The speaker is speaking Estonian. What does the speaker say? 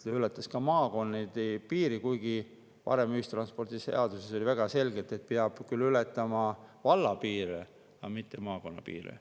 See ületas maakonna piiri, kuigi varem oli ühistranspordiseaduses väga selgelt, et peab küll ületama valla piire, aga mitte maakonna piire.